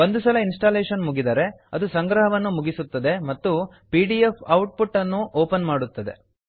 ಒಂದು ಸಲ ಇನ್ಸ್ಟಾಲೇಶನ್ ಮುಗಿದರೆ ಅದು ಸಂಗ್ರಹವನ್ನು ಮುಗಿಸುತ್ತದೆ ಮತ್ತು ಪಿಡಿಎಫ್ ಔಟ್ ಪುಟ್ ಅನ್ನು ಓಪನ್ ಮಾಡುತ್ತದೆ